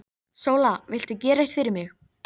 Votviðrasamt var þetta haust og veður köld.